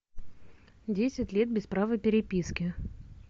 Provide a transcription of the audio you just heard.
десять лет без права переписки